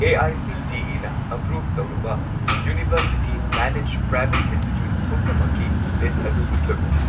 ꯑꯦ.ꯑꯥꯏ.ꯁꯤ.ꯇꯤ.ꯏ.ꯅ approve ꯇꯧꯔꯕ university managed private institute ꯄꯨꯝꯅꯃꯛꯀꯤ list ꯑꯗꯨ ꯎꯠꯂꯛꯎ꯫